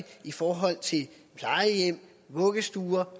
i forhold til plejehjem vuggestuer